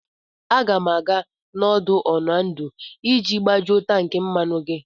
Aga m aga n'ọdụ̀ Oando iji gbajuo tankị mmanụ gị.